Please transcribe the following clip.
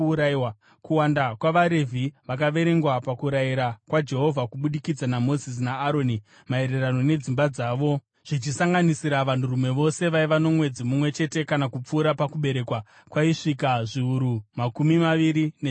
Kuwanda kwavaRevhi vakaverengwa pakurayira kwaJehovha kubudikidza naMozisi naAroni maererano nedzimba dzavo, zvichisanganisira vanhurume vose vaiva nomwedzi mumwe chete kana kupfuura pakuberekwa, kwaisvika zviuru makumi maviri nezviviri.